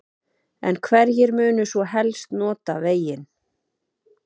En hverjir munu svo helst nota veginn?